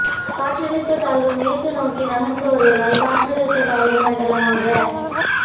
காற்றழுத்த தாழ்வு மேற்கு நோக்கி நகர்ந்து வருவதால் காற்றழுத்த தாழ்வு மண்டலமாக